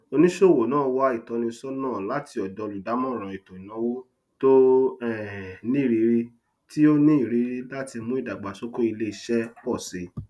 oníṣòwò náà wá ìtọnísọnà láti ọdọ olùdámọràn ètò ìnàwó tó um nírìrí tí ó ní irírí láti mú ìdàgbàsókè iléiṣẹ pọ síi